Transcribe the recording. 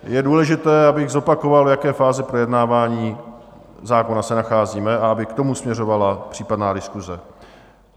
Je důležité, abych zopakoval, v jaké fázi projednávání zákona se nacházíme a aby k tomu směřovala případná diskuse.